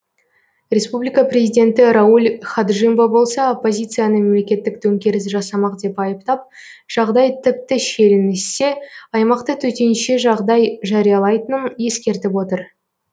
республика президенті рауль хаджимба болса оппозицияны мемлекеттік төңкеріс жасамақ деп айыптап жағдай тіпті шиеленіссе аймақта төтенше жағдай жариялайтынын ескертіп отыр